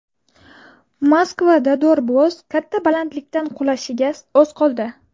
Moskvada dorboz katta balandlikdan qulashiga oz qoldi .